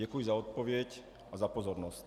Děkuji za odpověď a za pozornost.